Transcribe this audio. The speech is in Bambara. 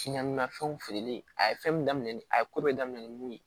fɛnw feereli a ye fɛn min daminɛ ni a ye ko bɛɛ daminɛ ni mun ye